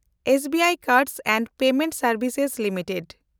SBI card and payment ᱥᱮᱱᱰᱵᱷᱥᱮᱥ limited